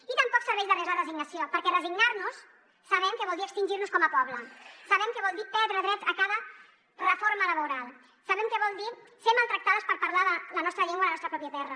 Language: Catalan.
i tampoc serveix de res la resignació perquè resignar nos sabem que vol dir extingir nos com a poble sabem que vol dir perdre drets a cada reforma laboral sabem que vol dir ser maltractades per parlar la nostra llengua a la nostra pròpia terra